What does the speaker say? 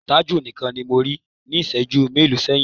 Tájù nìkan ni mo rí níṣẹ̀ẹ́jú mélòó sẹ́yìn.